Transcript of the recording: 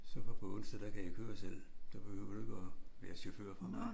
Så fra på onsdag der kan jeg køre selv der behøver du ikke at være chauffør for mig